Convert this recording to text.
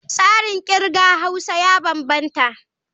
Tsarin kirga Haus ya bambanta.